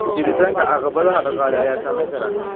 Jiritaanka caqabadaha dhaqaale ayaa saameyn kara.